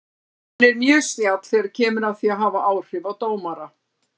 Hann er mjög snjall þegar kemur að því að hafa áhrif á dómara.